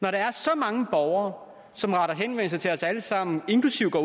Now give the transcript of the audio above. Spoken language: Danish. når der er så mange borgere som retter henvendelse til os alle sammen inklusive går